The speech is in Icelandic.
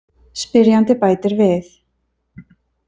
Spyrjandi bætir við